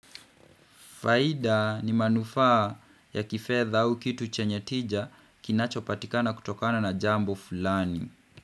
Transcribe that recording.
Faida ni manufaa ya kifedha au kitu chenye tija kinachopatikana kutokana na jambo fulani.